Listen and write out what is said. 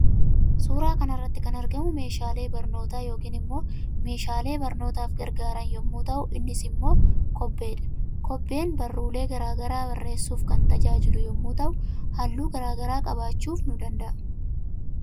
Suuraa kanarratti kan argamu meeshaalee barnoota yookaan immoo meeshaale barnootaf gargaaran yommu ta'uu innis immoo kobbeedha. Kobbeen barruulee garaa garaa bareessuuf kan tajaajilu yommuu ta'u halluu garaa garaa qabachuuf ni danda'a.